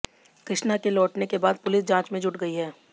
कृष्णा के लौटने के बाद पुलिस जांच में जुट गई है